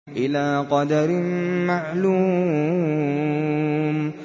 إِلَىٰ قَدَرٍ مَّعْلُومٍ